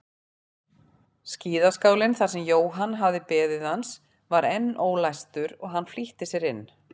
Skíðaskálinn þar sem Jóhann hafði beðið hans var enn ólæstur og hann flýtti sér inn.